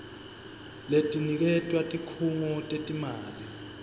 letiniketwa tikhungo tetimali